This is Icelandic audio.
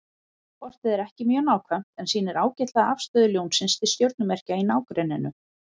Kortið er ekki mjög nákvæmt en sýnir ágætlega afstöðu Ljónsins til stjörnumerkja í nágrenninu.